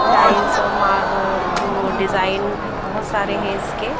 Tiles और मा आह जो डिज़ाइन बहुत सारे हैं इसके।